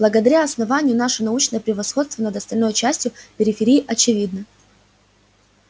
благодаря основанию наше научное превосходство над остальной частью периферии очевидно